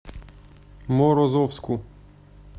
морозовску